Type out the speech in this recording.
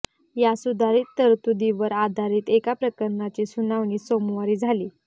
या सुधारित तरतुदीवर आधारित एका प्रकरणाची सुनावणी सोमवारी झाली